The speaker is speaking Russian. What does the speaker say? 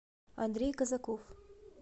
андрей казаков